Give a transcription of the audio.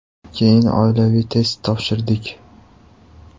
Keyin oilaviy test topshirdik.